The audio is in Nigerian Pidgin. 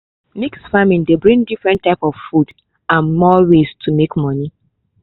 mix farming dey bring different types of food and more ways to make money